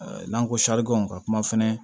N'an ko ka kuma fɛnɛ